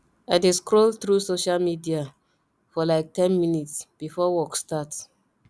i dey scroll through social media for like ten minutes before work starts